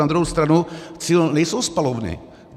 Na druhou stranu cíl nejsou spalovny.